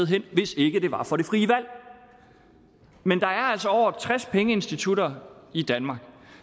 hen hvis ikke det var for det frie valg men der er altså over tres pengeinstitutter i danmark